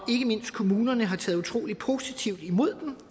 mindst kommunerne har taget utrolig positivt imod